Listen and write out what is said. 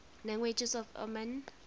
languages of oman